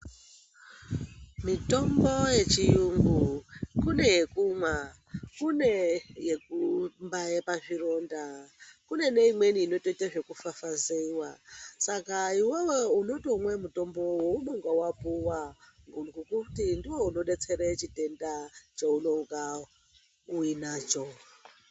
Mitombo yechiyungu kune yekumwa kune yekumbaye pazvironda kune imweni inotoite zvekufafazeiwa saka iwewe unotomwe mutombo weunenge wapuwa ngekuti ndiwo unodetsere chitenda cheunenga uyinacho.